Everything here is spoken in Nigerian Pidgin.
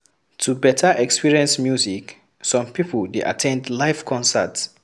To better experience music, some pipo dey at ten d live concert